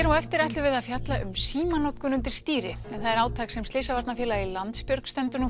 á eftir ætlum við að fjalla um símanotkun undir stýri en það er átak sem slysavarnarfélagið Landsbjörg stendur nú